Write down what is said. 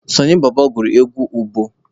Sọnị bọbọ gụrụ egwu ụbọ